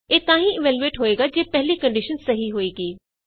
ਇਹ ਤਾਂ ਹੀ ਇਵੈਲਯੂਏਟ ਹੋਏਗੀ ਜੇ ਪਹਲੀ ਕੰਡੀਸ਼ਨ ਸਹੀ ਹੋਏਗੀ